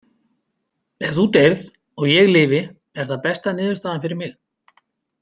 Ef þú deyrð og ég lifi er það besta niðurstaðan fyrir mig.